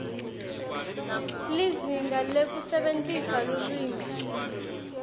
lizinga lekusebentisa lulwimi